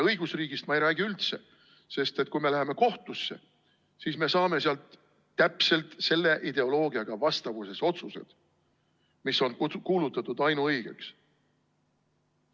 Õigusriigist ma ei räägi üldse, sest kui me läheme kohtusse, siis saame sealt täpselt selle ideoloogiaga vastavuses olevad otsused, mis on kuulutatud ainuõigeks.